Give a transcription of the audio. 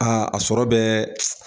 Aa a sɔrɔ bɛɛ